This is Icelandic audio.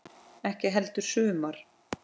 Ekki heldur sumar.